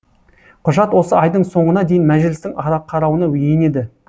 құжат осы айдың соңына дейін мәжілістің қарауына енеді